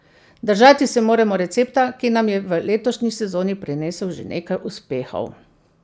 Držati se moramo recepta, ki nam je v letošnji sezoni prinesel že nekaj uspehov.